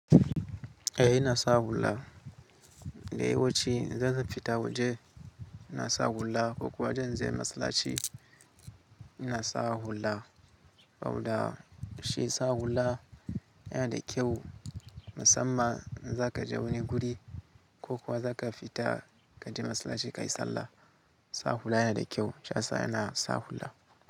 Eh ina sa hula. Da yawanci idan zan fita waje ina sa hula ko kuwa idan zan je masallaci ina sa hula. Saboda shi sa hula yana da kyau, musamman in za ka je wani guri ko kuwa za ka fita ka je masallaci kayi sallah. Sa hula yana da kyau. Shayasa ina sa hula.